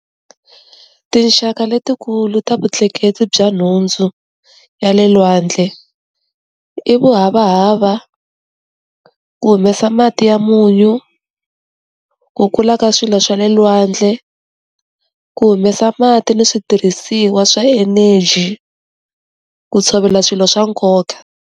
Tinxaka letikulu ta vutleketli bya nhundzu, ya le lwandle, i vuhavahava, ku humesa mati ya munyu, ku kula ka swilo swa le lwandle, ku humesa mati ni switirhisiwa swa energy, ku tshovela swilo swa nkoka.